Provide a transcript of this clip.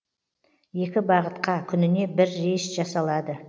екі бағытқа күніне бір рейс жасалады